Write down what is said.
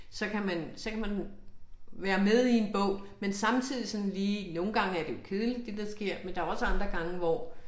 Så kan man så kan man være med i en bog men samtidig sådan lige nogle gange er det jo kedeligt det der sker men der jo også andre gange hvor